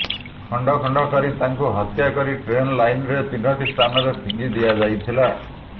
ଖଣ୍ଡ ଖଣ୍ଡ କରି ତାଙ୍କୁ ହତ୍ୟା କରି ଟ୍ରେନ୍ ଲାଇନ୍ର ତିନିଟି ସ୍ଥାନରେ ଫିଙ୍ଗି ଦିଆଯାଇଥିଲା